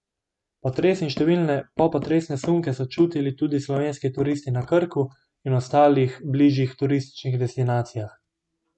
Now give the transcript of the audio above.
Potres in številne popotresne sunke so čutili tudi slovenski turisti na Krku in ostalih bližnjih turističnih destinacijah.